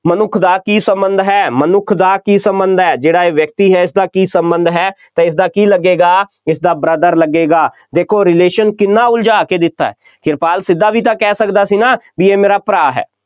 ਮਨੁੱਖ ਦਾ ਕੀ ਸੰਬੰਧ ਹੈ, ਮਨੁੱਖ ਦਾ ਕੀ ਸੰਬੰਧ ਹੈ, ਜਿਹੜਾ ਇਹ ਵਿਅਕਤੀ ਹੈ, ਇਸਦਾ ਕੀ ਸੰਬੰਧ ਹੈ ਅਤੇ ਇਸਦਾ ਕੀ ਲੱਗੇਗਾ, ਇਸਦਾ brother ਲੱਗੇਗਾ, ਦੇਖੋ relation ਨੂੰ ਕਿੰਨਾ ਉਲਝਾ ਕੇ ਦਿੱਤਾ ਹੈ, ਕਿਰਪਾਲ ਸਿੱਧਾ ਵੀ ਤਾਂ ਕਹਿ ਸਕਦਾ ਸੀ ਨਾ ਬਈ ਇਹ ਮੇਰਾ ਭਰਾ ਹੈ।